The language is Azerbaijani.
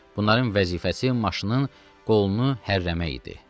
Bunların vəzifəsi maşının qolunu hərrəmək idi.